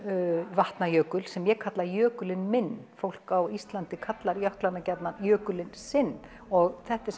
Vatnajökul sem ég kalla jökulinn minn fólk á Íslandi kallar jöklana gjarnan jökulinn sinn og þetta er